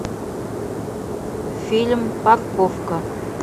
фильм парковка